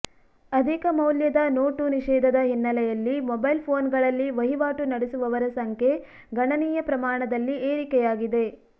ಅಧಿಕ ಮೌಲ್ಯದ ನೋಟು ನಿಷೇಧದ ಹಿನ್ನೆಲೆಯಲ್ಲಿ ಮೊಬೈಲ್ ಫೋನ್ಗಳಲ್ಲಿ ವಹಿವಾಟು ನಡೆಸುವವರ ಸಂಖ್ಯೆ ಗಣನೀಯ ಪ್ರಮಾಣದಲ್ಲಿ ಏರಿಕೆಯಾಗಿದೆ